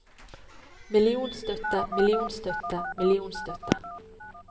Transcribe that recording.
millionstøtte millionstøtte millionstøtte